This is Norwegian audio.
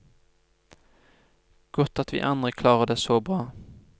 Godt at vi andre klarer det så bra.